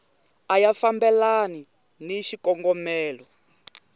a ya fambelani ni xikongomelo